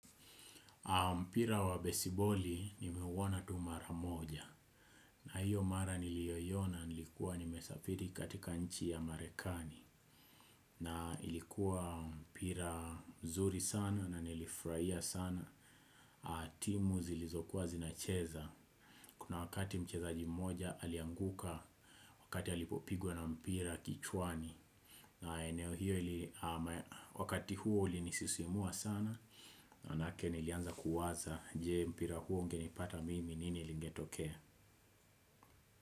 Mpira wa besiboli nimeuwona tu mara moja na hiyo mara nilioiyona nilikuwa nimesafiri katika nchi ya marekani na ilikuwa mpira mzuri sana na nilifuraia sana timu zilizokuwa zinacheza kuna wakati mchezaji mmoja alianguka wakati alipopigwe na mpira kichwani na eneo hiyo wakati huo ulinisisimua sana. Manake nilianza kuwaza. Je mpira huo ungenipata mimi nini lingetokea.